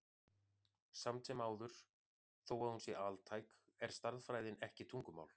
Samt sem áður, þó að hún sé altæk, er stærðfræðin ekki tungumál.